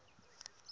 ya huvo yo ka yi